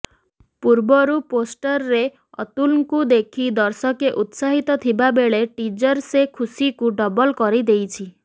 ପୂର୍ବରୁ ପୋଷ୍ଟର୍ରେ ଅତୁଲ୍ଙ୍କୁ ଦେଖି ଦର୍ଷକେ ଉତ୍ସାହିତ ଥିବା ବେଳେ ଟିଜର ସେ ଖୁସିକୁ ଡବଲ୍ କରିଦେଇଛି